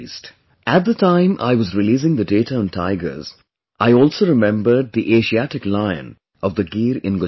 At the time I was releasing the data on tigers, I also remembered the Asiatic lion of the Gir in Gujarat